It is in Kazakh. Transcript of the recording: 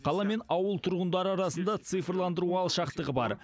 қала мен ауыл тұрғындары арасында цифрландыру алшақтығы бар